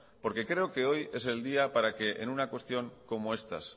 creo que hoy es el día para que